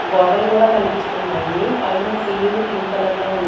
గోడలు కూడా కనిపిస్తున్నాయి పైన సీలింగ్ పింక్ కలర్ లో ఉం--